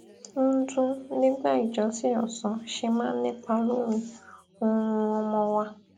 ń dún nígbà ìjọsìn òsán ṣe máa ń nípa lórí oorun ọmọ wa